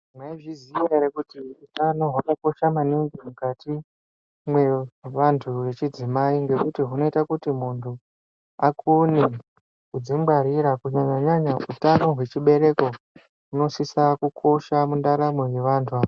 Mwaizviziya ere kuti utano hwakakosha maningi mukati mwevantu vechidzimai ngekuti hunoita kuti muntu akone kudzingwarira kunyanya nyanya utano hwechibereko hunosisa kukosha mundaramo yevantu.